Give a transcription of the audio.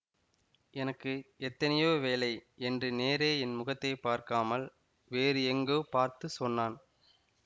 எனக்கு எத்தனையோ வேலை என்று நேரே என் முகத்தை பார்க்காமல் வேறு எங்கோ பார்த்து சொன்னான்